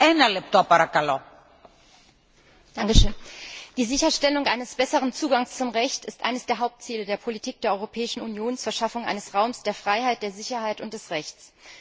Frau Präsidentin! Die Sicherstellung eines besseren Zugangs zum Recht ist eines der Hauptziele der Politik der Europäischen Union zur Schaffung eines Raums der Freiheit, der Sicherheit und des Rechts.